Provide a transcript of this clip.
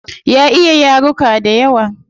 Ya iya yaruka dayawa